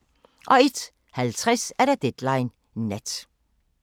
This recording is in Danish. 01:50: Deadline Nat